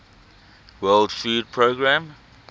world food programme